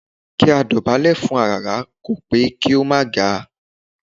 Kí a dọ̀bálẹ̀ fún aràrá kò pé kí a má ga